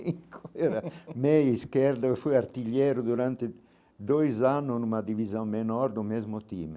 Eu era meio esquerdo, eu fui artilheiro durante dois anos numa divisão menor do mesmo time.